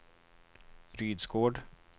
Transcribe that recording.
Rydsgård